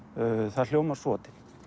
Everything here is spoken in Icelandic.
það hljómar svo